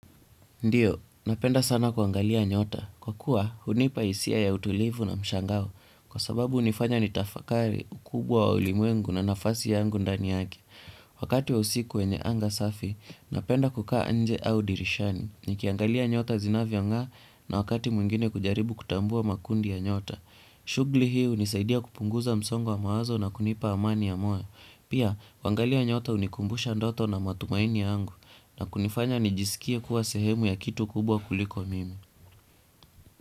Ndio, napenda sana kuangalia nyota. Kwa kuwa, hunipa hisia ya utulivu na mshangao. Kwa sababu hunifanya nitafakari ukubwa wa ulimwengu na nafasi yangu ndani yake. Wakati wa usiku wenye anga safi, napenda kukaa nje au dirishani. Nikiangalia nyota zinavyo nga'a na wakati mwingine kujaribu kutambua makundi ya nyota. Shughuli hii hunisaidia kupunguza msongo wa mawazo na kunipa amani ya moyo. Pia, kuangalia nyota hunikumbusha ndoto na matumaini yangu. Na kunifanya nijisikia kuwa sehemu ya kitu kubwa kuliko mimi.